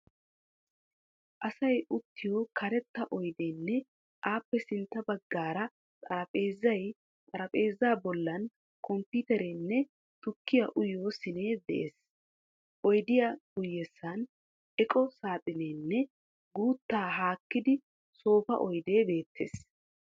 Asay uttiyo karatta oydeenne appe sintta baggaara xaraphpheezzay, xaraphpheeza bollan komppiiterenne tukkiyaa uyiyoo siinee dees. oydiyaa guyessan eqqo saaxineenne guutta haakkidi soofa oydee beettees.